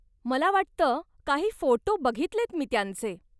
मला वाटतं काही फोटो बघितलेयत मी त्यांचे.